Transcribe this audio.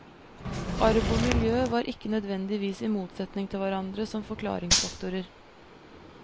Arv og miljø var ikke nødvendigvis i motsetning til hverandre som forklaringsfaktorer.